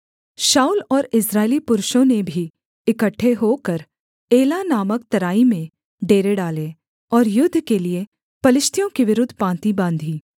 शाऊल और इस्राएली पुरुषों ने भी इकट्ठे होकर एला नामक तराई में डेरे डाले और युद्ध के लिये पलिश्तियों के विरुद्ध पाँति बाँधी